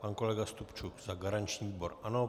Pan kolega Stupčuk za garanční výbor ano.